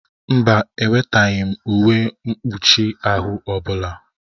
Mba, eweteghị m uwe mkpụchi ahụ ọbụla.